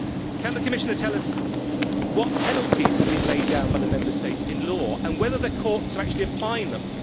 Can the Commissioner tell us what penalties have been laid down by the Member States in law and whether the courts are actually applying them?